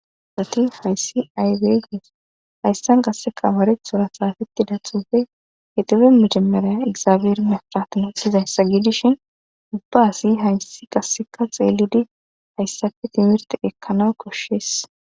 Asati hayssi aywegus hayssan qasseka abareth xura saafeti da thufe hedufe micemeraya igzaabeer mefratino syizayssa giidishin ubba hasi haysi qasseka xeeludi hayssafe timirti ekkana koshshees